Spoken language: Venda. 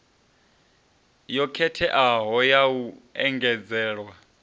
yo khetheaho ya u engedzelwa